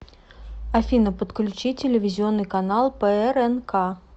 афина подключи телевизионный канал прнк